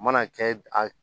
U mana kɛ a